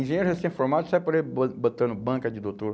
Engenheiro recém-formado sai por aí bo botando banca de doutor.